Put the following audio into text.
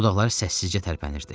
Dodaqları səssizcə tərpənirdi.